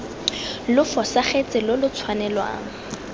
lo fosagatse lo lo tshwanelwang